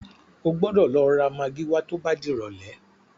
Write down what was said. O gbọ́dọ̀ lọ ra magí wá tó bá dìrọ̀lẹ́.